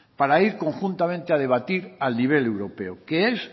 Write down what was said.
para ir conjuntamente a debatir a nivel europeo que es